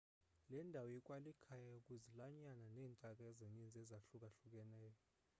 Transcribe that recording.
le ndawo ikwalikhaya kwizilwanyana neentaka ezininzi ezahlukahlukeneyo